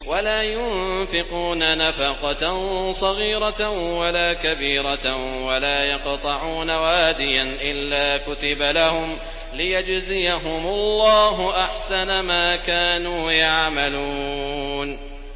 وَلَا يُنفِقُونَ نَفَقَةً صَغِيرَةً وَلَا كَبِيرَةً وَلَا يَقْطَعُونَ وَادِيًا إِلَّا كُتِبَ لَهُمْ لِيَجْزِيَهُمُ اللَّهُ أَحْسَنَ مَا كَانُوا يَعْمَلُونَ